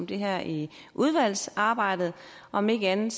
det her i udvalgsarbejdet om ikke andet